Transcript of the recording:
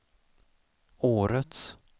årets